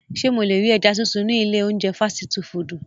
Ṣe mo le ri ẹja sisun ni ile ounjẹ fasiti fudu?